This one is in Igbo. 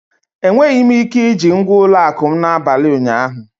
Enweghị m ike iji ngwa ụlọ akụ m n'abalị ụnyaahụ.